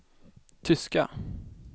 tyska